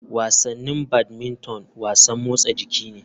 Wasannin badmington wasan motsa jiki ne.